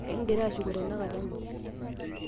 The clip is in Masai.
ekingira shuko tenakata inji